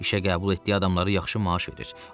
İşə qəbul etdiyi adamları yaxşı maaş verir.